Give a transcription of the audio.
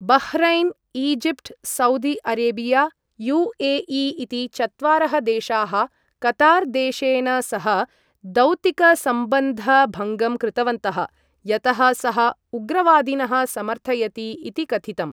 Bahrain, Egypt, Saudi Arabia, U A E इति चत्वारः देशाः कतार् देशेन सह दौतिकसम्बन्धभङ्गं कृतवन्तः यतः सः 'उग्रवादिनः' समर्थयति इति कथितम्।